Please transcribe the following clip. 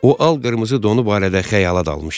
O al-qırmızı donu barədə xəyala dalmışdı.